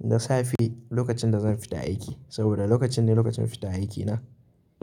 Da safe lokacin da zan fita aiki saboda lokacin ne lokacin fitan aiki na,